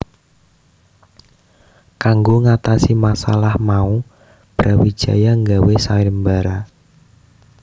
Kanggo ngatasi masalah mau Brawijaya gawé sayembara